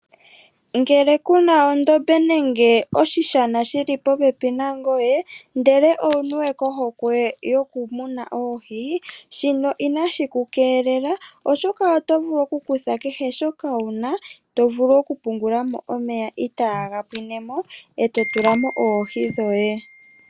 Ngele ku na ondombe nenge oshisjana shi li popepi nangoye, ndele owu niwe kohokwe yokumuna oohi, shino inashi ku keelela. Oshoka oto vulu okukutha kehe shoka wuna, to vulu okupungulamo omeya itaga pwinemo, e to tulamo oohi dhoye.